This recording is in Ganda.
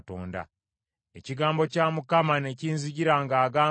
Ekigambo kya Mukama ne kinzijira ng’agamba nti,